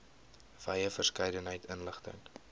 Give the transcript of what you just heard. wye verskeidenheid inligting